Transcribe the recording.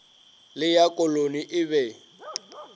le ya koloni e be